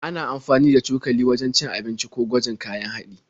Ana amfani da cokali wajen cin abinci ko gwajin kayan haɗi.